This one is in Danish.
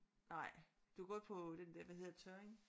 Nej du er gået på den der hvad hedder det Tørring?